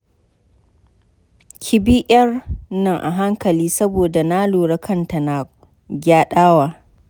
Ki bi ƴar nan a hankali saboda na lura kanta na gyaɗawa.